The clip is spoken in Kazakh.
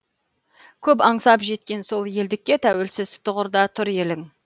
көп аңсап жеткен соң елдікке тәуелсіз тұғырда тұр елің